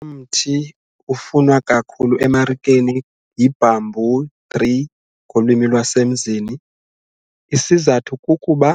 Umthi ufunwa kakhulu emarikeni yi-bamboo tree ngolwimi lwasemzini isizathu kukuba